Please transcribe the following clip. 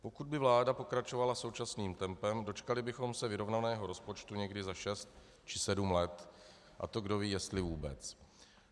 Pokud by vláda pokračovala současným tempem, dočkali bychom se vyrovnaného rozpočtu někdy za šest či sedm let, a to kdo ví jestli vůbec.